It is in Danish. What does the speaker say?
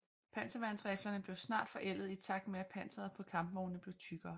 Panserværnsriflerne blev snart forældede i takt med at panseret på kampvognene blev tykkere